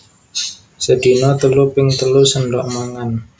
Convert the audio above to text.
Sedina telu ping telu séndhok mangan